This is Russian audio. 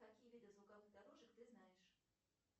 какие виды звуковых дорожек ты знаешь